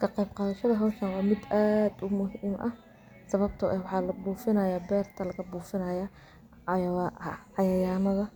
Ka qeyb qadhasha hawshan waa mid aad u muhiim ah sababto waxa labufinaya beerta laga bufinaya cayaymadha